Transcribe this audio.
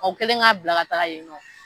O kɛlen k'a bila ka taga yen nɔ